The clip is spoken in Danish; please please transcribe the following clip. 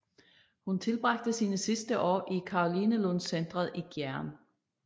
Hun tilbragte sine sidste år i Karolinelundscentret i Gjern